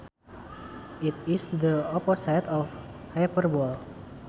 It is the opposite of hyperbole